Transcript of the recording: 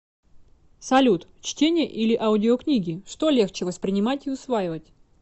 салют чтение или аудиокнигичто легче воспринимать и усваивать